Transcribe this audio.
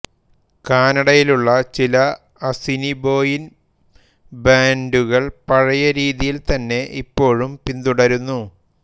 കാനഡയിലുള്ള ചില അസിനിബോയിൻ ബാൻറുകൾ പഴയ രീതി തന്നെ ഇപ്പോഴും പിന്തുടരുന്നു